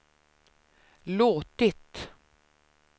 låtit